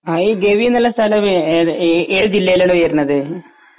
ആ ഈ ഗവി നല്ല സ്ഥലമാണ് ഏത് ജില്ലയിലാണ് വരുന്നത്